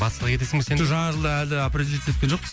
батысқа кетесің бе сен де жоқ жаңа жылды әлі определить еткен жокпыз